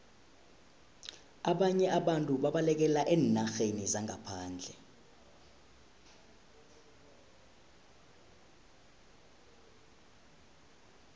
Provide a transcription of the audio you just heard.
ababnye abantu babalekela eenarheni zangaphandle